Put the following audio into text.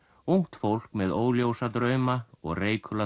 ungt fólk með óljósa drauma og